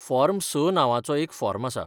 Form S नांवाचो एक form आसा.